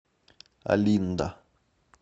олинда